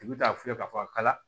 U bɛ t'a fiyɛ k'a fɔ a ka